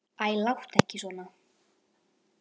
Æ, láttu ekki svona.